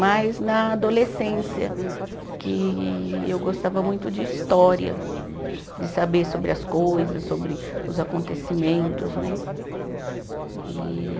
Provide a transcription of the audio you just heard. Mas na adolescência, que eu gostava muito de história, de saber sobre as coisas, sobre os acontecimentos, né? E